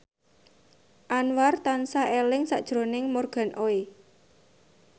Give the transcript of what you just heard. Anwar tansah eling sakjroning Morgan Oey